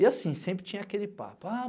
E assim, sempre tinha aquele papo. A